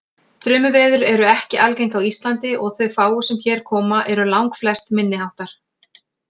Þrumuveður eru ekki algeng á Íslandi og þau fáu sem hér koma eru langflest minniháttar.